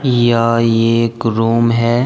यह एक रूम है।